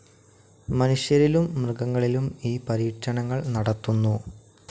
മനുഷ്യരിലും മൃഗങ്ങളിലും ഈ പരീക്ഷണങ്ങൾ നടത്തുന്നു.